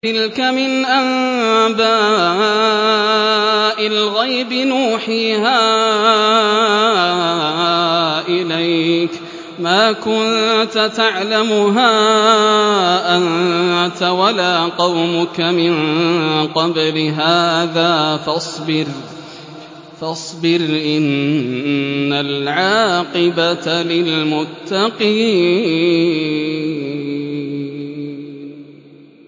تِلْكَ مِنْ أَنبَاءِ الْغَيْبِ نُوحِيهَا إِلَيْكَ ۖ مَا كُنتَ تَعْلَمُهَا أَنتَ وَلَا قَوْمُكَ مِن قَبْلِ هَٰذَا ۖ فَاصْبِرْ ۖ إِنَّ الْعَاقِبَةَ لِلْمُتَّقِينَ